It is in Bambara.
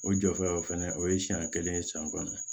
O jɔfɛlaw fana o ye siɲɛ kelen siyɛn kɔnɔ